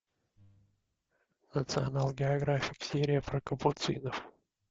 национал географик серия про капуцинов